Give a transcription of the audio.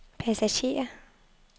passagerer